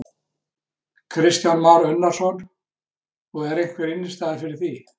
Kristján Már Unnarsson: Og er einhver innistæða fyrir því?